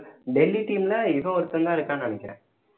Delhi team னா இவன் ஒருத்தன்தான் இருக்கான்னு நினைக்கிறேன்